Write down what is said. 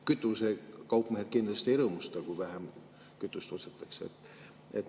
Kütusekaupmehed kindlasti ei rõõmusta, kui vähem kütust ostetakse.